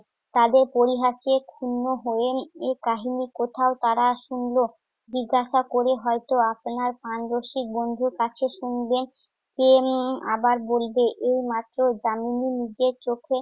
তাদের পরিহাসে ক্ষুণ্ণ হয়ে উম এ কাহিনি কোথায় তারা শুনল জিজ্ঞাসা করে হয়ত আপনার প্রাণরসিক বন্ধুর কাছে শুনবেন, কে উম আবার বলবে। এ মাত্র দামিনী নিজের চোখে